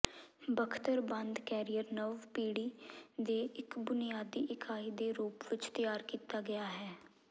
ਬਖਤਰਬੰਦ carrier ਨਵ ਪੀੜ੍ਹੀ ਦੇ ਇੱਕ ਬੁਨਿਆਦੀ ਇਕਾਈ ਦੇ ਰੂਪ ਵਿੱਚ ਤਿਆਰ ਕੀਤਾ ਗਿਆ ਹੈ